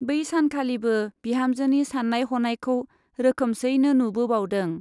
बै सानखालिबो बिहामजोनि सान्नाय हनायखौ रोखोमसैनो नुबोबावदों।